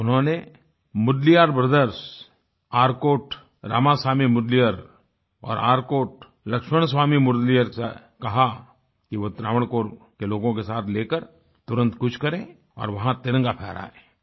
उन्होंने मुदलियार ब्रदर्स आर्कोट रामासामी मुदलियार और आर्कोट लक्ष्मणस्वामी मुदलियार से कहा कि वो त्रावणकोर के लोगों के साथ लेकर तुरंत कूच करें और वहाँ तिरंगा फहरायें